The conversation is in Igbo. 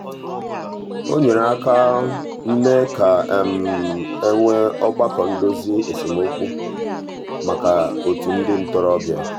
o nyere aka mee ka e nwee ọgbakọ ndozi esemokwu maka otu ndị ntorobịa.